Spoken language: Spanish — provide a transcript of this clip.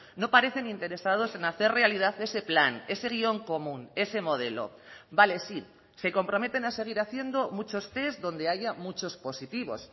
no parecen interesados en hacer realidad ese plan ese guion común ese modelo vale sí se comprometen a seguir haciendo muchos test donde haya muchos positivos